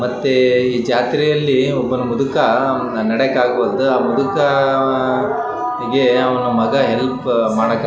ಮತ್ತೆ ಈ ಜಾತ್ರೆಯಲ್ಲಿ ಒಬ್ರು ಮುದ್ಕ ಅವ್ನ ನಡ್ಯೆಕ ಅಗುವಲ್ದು ಆ ಮುದ್ಕ ಅವನ್‌ ಮಗ ಹೆಲ್ಪ ಮಾಡಕ --